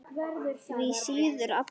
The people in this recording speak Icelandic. Því síður Abba hin.